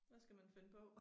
Hvad skal man finde på